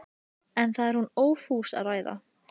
En það er hún ófús að ræða.